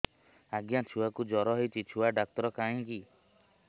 ଆଜ୍ଞା ଛୁଆକୁ ଜର ହେଇଚି ଛୁଆ ଡାକ୍ତର କାହିଁ କି